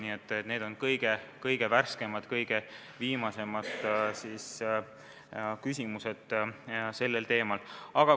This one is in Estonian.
Nii et tegu on kõige värskemate, viimaste küsimustega selles valdkonnas.